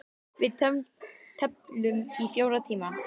Við tefldum í fjóra klukkutíma!